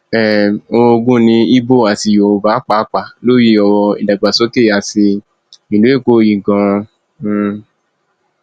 um orogun ní ibo àti yorùbá pàápàá lórí ọrọ ìdàgbàsókè àti ìlú èkó yìí ganan um